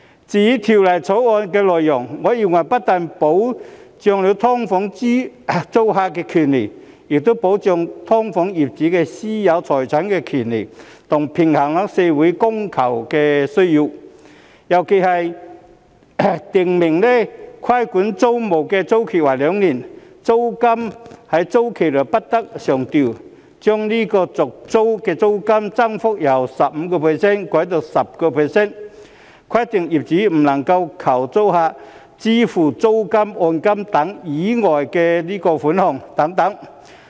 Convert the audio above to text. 至於《條例草案》的內容，我認為不單保障了"劏房"租客的權益，亦保障了"劏房"業主的私有財產權，還平衡了社會的供求需要，尤其是其中訂明規管租賃的租期為兩年，租金在租期內不得上調；將續訂租賃的租金增幅上限由 15% 修改至 10%； 規定業主不能要求租客支付租金、按金等以外的款項等。